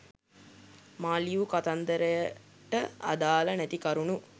මා ලියූ කතන්දරයට අදාල නැති කරුණු